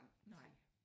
Nej